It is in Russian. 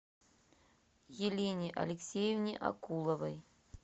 елене алексеевне акуловой